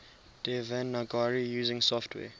devanagari using software